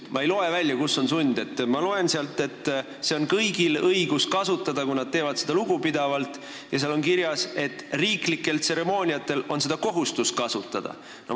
Ma loen, et kõigil on õigus hümni kasutada, kui nad teevad seda lugupidavalt, ja seal on ka kirjas, et riiklikel tseremooniatel on kohustus seda kasutada.